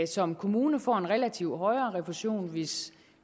som kommune får en relativt højere refusion hvis